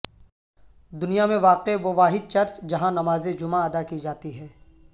دنیا میں واقع وہ واحد چرچ جہاں نماز جمعہ ادا کی جاتی ہے